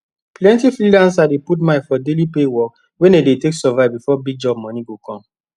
plenti freelancer dey put mind for daily pay work wey dem dey take survive before big job moni go come